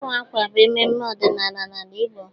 Ịwa akwa bụ mmemme ọdịnala n'ala Igbo